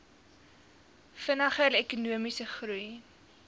vinniger ekonomiese groei